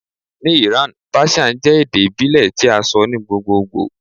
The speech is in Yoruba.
Ni Iran Persian jẹ ede ibile ti a sọ ni gbogbogbo